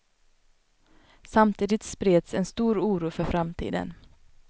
Samtidigt spreds en stor oro för framtiden.